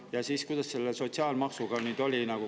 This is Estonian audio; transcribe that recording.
Ja kuidas selle sotsiaalmaksuga on?